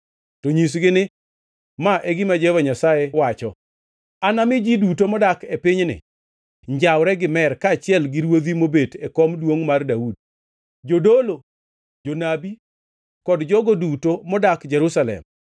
To nyisgi ni, ‘Ma e gima Jehova Nyasaye wacho: Anami ji duto modak e pinyni njawre gi mer, kaachiel gi ruodhi mobet e kom duongʼ mar Daudi, jodolo, jonabi kod jogo duto modak Jerusalem.